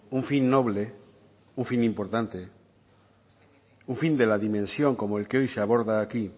un fin noble un fin importante un fin de la dimensión como el que hoy se aborda aquí